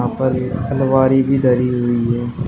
ऊपर में अलमारी भी धरी हुई है।